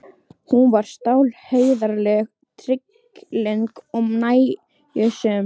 Hún var stálheiðarleg, trygglynd og nægjusöm.